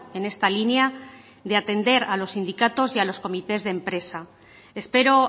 en esta línea de atender a los sindicatos y a los comités de empresa espero